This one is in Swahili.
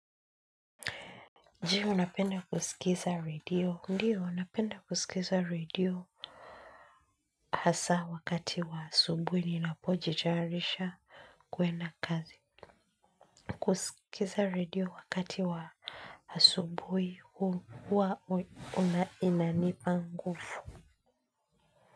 Je, unapenda kusikiza radio? Ndio, napenda kusikiza radio. Hasa wakati wa asubuhi ninapojitayarisha kuenda kazi. Kusikiza radio wakati wa asubuhi huwa inanipa nguvu.